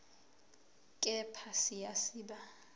kepha siya siba